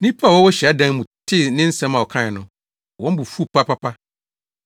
Nnipa a wɔwɔ hyiadan no mu tee ne nsɛm a ɔkae no, wɔn bo fuwii papaapa.